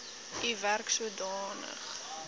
u werk sodanig